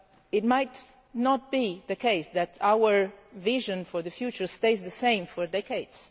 It might not be the case that our vision for the future will stay the same for decades.